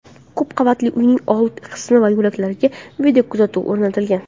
Ko‘p qavatli uyning old qismi va yo‘laklarga videokuzatuv o‘rnatilgan.